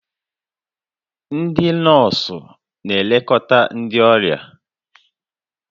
Ndị nọọsụ na-elekọta ndị ọrịa